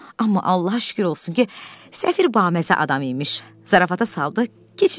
Amma Allaha şükür olsun ki, səfir baməzə adam imiş, zarafata saldı, keçib getdi.